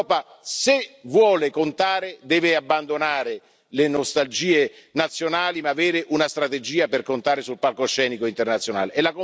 L'Europa, se vuole contare, deve abbandonare le nostalgie nazionali, ma avere una strategia per contare sul palcoscenico internazionale.